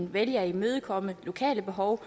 vælge at imødekomme lokale behov